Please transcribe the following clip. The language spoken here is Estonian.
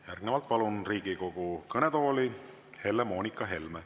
Järgnevalt palun Riigikogu kõnetooli Helle-Moonika Helme.